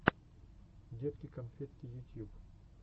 детки конфетки ютьюб